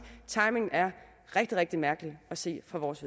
at timingen er rigtig rigtig mærkelig set fra vores